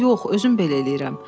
Yox, özüm belə eləyirəm.